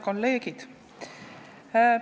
Head kolleegid!